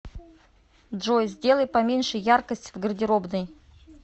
джой сделай поменьше яркость в гардеробной